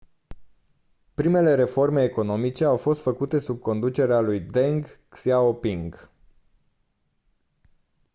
primele reforme economice au fost făcute sub conducerea lui deng xiaoping